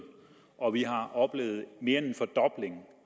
og vi har oplevet mere end